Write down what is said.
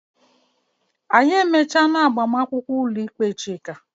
Anyị emechaala agbamakwụkwọ ụlọikpe Chika.